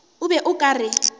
o be o ka re